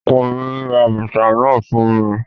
Ọkọ mi ra bàtà náà fún mi